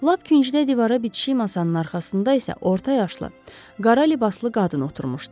Lap küncdə divara bitişik masanın arxasında isə orta yaşlı, qara libaslı qadın oturmuşdu.